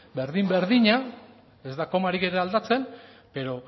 berdin berdina ez da komarik ere aldatzen pero